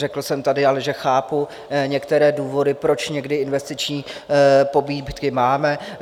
Řekl jsem tady ale, že chápu některé důvody, proč někdy investiční pobídky máme.